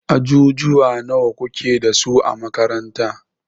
Ajujuwa nawa kuke dasu a makaranta?